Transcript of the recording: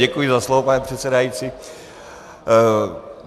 Děkuji za slovo, pane předsedající.